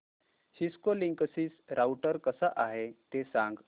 Cisco Linksys router कसा आहे ते सांग